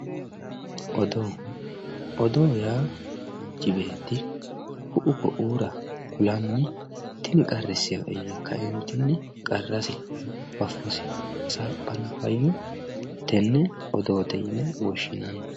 odoo odoo yaa manchi beetti ku'u ku'iira kulanni tini qarrissee'e yee kaeentinni qarrasi faffosi hasaaphanno hayyo tenne odoote yine woshshinanni.